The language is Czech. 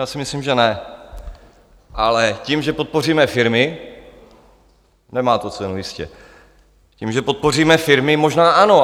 Já si myslím, že ne, ale tím, že podpoříme firmy, nemá to cenu, jistě, tím, že podpoříme firmy, možná ano.